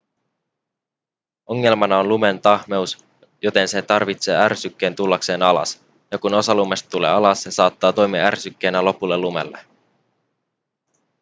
ongelmana on lumen tahmeus joten se tarvitsee ärsykkeen tullakseen alas ja kun osa lumesta tulee alas se saattaa toimia ärsykkeenä lopulle lumelle